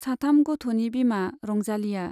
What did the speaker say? साथाम गथ'नि बिमा रंजालीया।